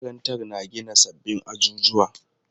Makarantar na gina sabbin ajujuwa.